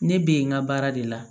Ne bɛ yen n ka baara de la